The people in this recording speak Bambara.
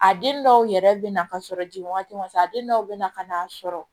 A den dɔw yɛrɛ bɛ na ka sɔrɔ ji ma se a den dɔw bɛ na ka n'a sɔrɔ